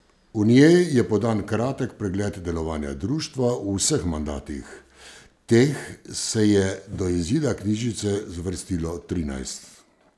V njej je podan kratek pregled delovanja društva v vseh mandatih, teh se je do izida knjižice zvrstilo trinajst.